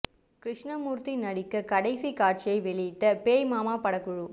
கிருஷ்ணமூர்த்தி நடிக்க கடைசி காட்சியை வெளியிட்ட பேய் மாமா படக்குழு